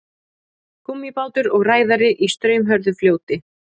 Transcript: gúmmíbátur og ræðari í straumhörðu fljóti